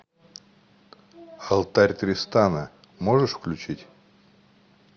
алтарь тристана можешь включить